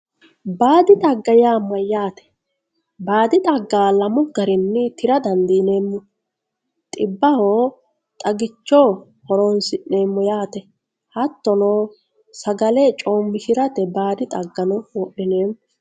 baadi xagga yaa mayyaate baadi xagga lamu garinni tira dandiineemmo xibbaho xagicho horoonsi'neemmo yaate hattono sagale coommishirate baadi xaggano wodhineemmo.